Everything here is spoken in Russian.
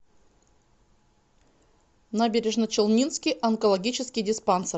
набережночелнинский онкологический диспансер